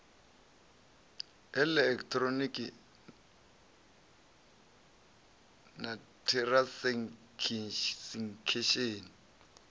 ha eḽekiṱhironiki na t hiransekisheni